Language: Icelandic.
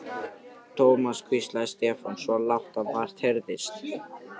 Thomas hvíslaði Stefán, svo lágt að vart heyrðist.